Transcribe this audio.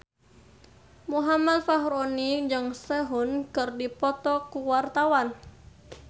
Muhammad Fachroni jeung Sehun keur dipoto ku wartawan